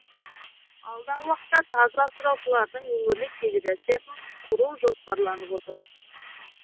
алдағы уақытта тазы асыраушылардың өңірлік федерациясын құру жоспарланып отыр